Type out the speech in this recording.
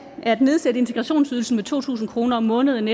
at nedsætte integrationsydelsen med to tusind kroner om måneden